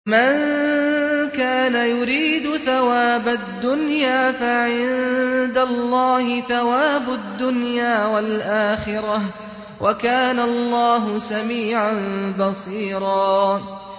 مَّن كَانَ يُرِيدُ ثَوَابَ الدُّنْيَا فَعِندَ اللَّهِ ثَوَابُ الدُّنْيَا وَالْآخِرَةِ ۚ وَكَانَ اللَّهُ سَمِيعًا بَصِيرًا